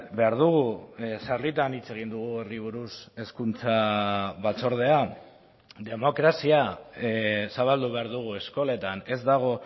behar dugu sarritan hitz egin dugu horri buruz hezkuntza batzordean demokrazia zabaldu behar dugu eskoletan ez dago